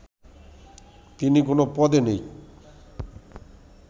তিনি কোনো পদে নেই